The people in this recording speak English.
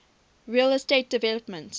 real estate development